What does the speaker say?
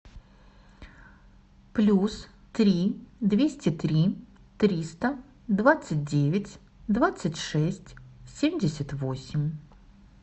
плюс три двести три триста двадцать девять двадцать шесть семьдесят восемь